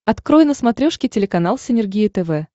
открой на смотрешке телеканал синергия тв